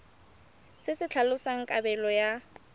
se se tlhalosang kabelo ya